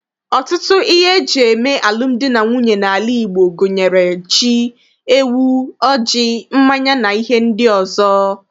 Ọtụtụ ihe eji eme emume alụmdi na nwunye n'ala Igbo gunyere ji, ewu, ọjị, mmanya, na ihe ndị ọzọ.